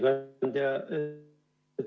Hea ettekandja!